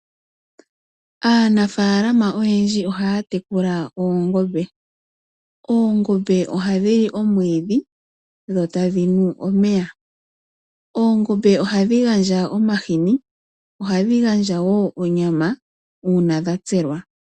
Aanafaalama oyendji ohaya munu oongombe. Oongombe ohadhi li omwiidhi dho tadhi nu omeya. Oongombe ohadhi gandja omahini, ohadhi gandja wo onyama uuna dha tselwa.